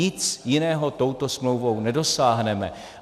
Nic jiného touto smlouvou nedosáhneme.